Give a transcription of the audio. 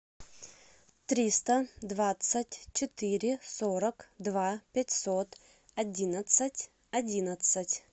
триста двадцать четыре сорок два пятьсот одиннадцать одиннадцать